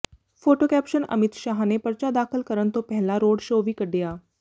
photo caption Amit Shah ਨੇ ਪਰਚਾ ਦਾਖਲ ਕਰਨ ਤੋਂ ਪਹਿਲਾਂ ਰੋਡ ਸ਼ੋਅ ਵੀ ਕੱਢਿਆ